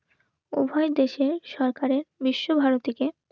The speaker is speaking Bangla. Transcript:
উভয় দেশে সরকারের বিশ্বভারতীকে